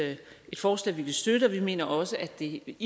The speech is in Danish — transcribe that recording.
forslag vi vil støtte og vi mener også at det